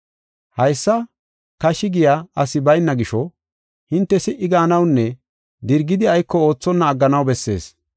Haysa kashi giya asi bayna gisho, hinte si77i gaanawunne dirgidi ayko oothonna agganaw bessees.